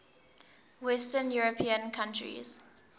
western european countries